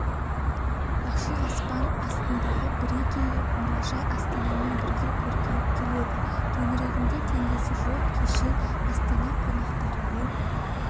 ашық аспан астындағы бірегей мұражай астанамен бірге көркейіп келеді төңірегінде теңдесі жоқ кешен астана қонақтары мен